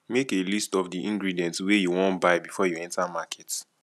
make a list of the ingredient wey you wan buy before you enter market